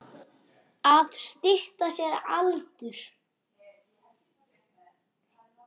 Að stytta sér aldur.